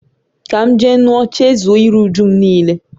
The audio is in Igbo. Ka m je ṅua, chezọ iru-újúm nile